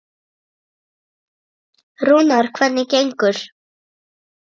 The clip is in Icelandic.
Rúnar, hvernig gengur?